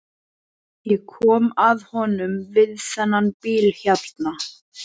Ég kom að honum við þennan bíl hérna.